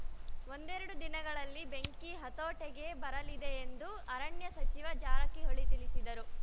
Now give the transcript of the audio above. ಒಂದೆರಡು ದಿನಗಳಲ್ಲಿ ಬೆಂಕಿ ಹತೋಟೆಗೆ ಬರಲಿದೆ ಎಂದು ಅರಣ್ಯ ಸಚಿವ ಜಾರಕಿಹೋಳಿ ತಿಳಿಸಿದರು